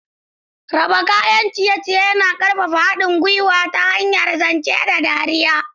Raba kayan ciye-ciye yana ƙarfafa haɗin gwiwa ta hanyar zance da dariya.